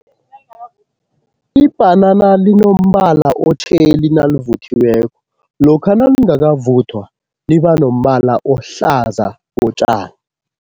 Ibhanana linombala otjheli nalivuthiweko, lokha nalingakavuthwa liba nombala ohlaza kotjani.